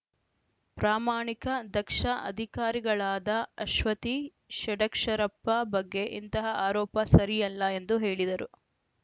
ಪ್ರಾಮಾಣಿಕ ದಕ್ಷ ಅಧಿಕಾರಿಗಳಾದ ಅಶ್ವತಿ ಷಡಕ್ಷರಪ್ಪ ಬಗ್ಗೆ ಇಂತಹ ಆರೋಪ ಸರಿಯಲ್ಲ ಎಂದು ಹೇಳಿದರು